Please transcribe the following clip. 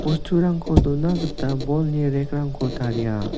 bosturangko dona gita bolni rack -rangko taria.